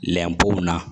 Lɛpo na